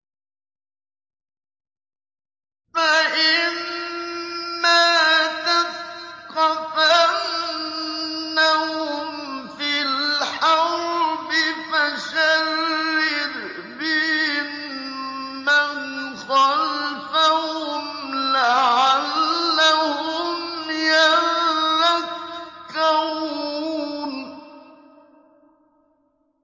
فَإِمَّا تَثْقَفَنَّهُمْ فِي الْحَرْبِ فَشَرِّدْ بِهِم مَّنْ خَلْفَهُمْ لَعَلَّهُمْ يَذَّكَّرُونَ